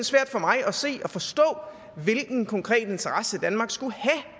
svært for mig at se og forstå hvilken konkret interesse danmark skulle have